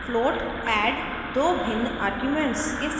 float add दो भिन्न arguments के साथ